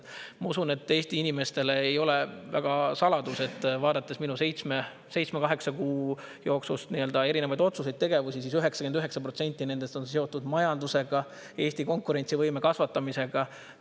Ma usun, et Eesti inimestele ei ole saladus, et kui vaadata minu seitsme-kaheksa kuu jooksul erinevaid otsuseid, tegevusi, siis 99% nendest on seotud majandusega, Eesti konkurentsivõime kasvatamisega.